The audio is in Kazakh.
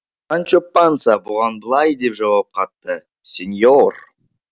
санчо панса бұған былай деп жауап қатты сеньор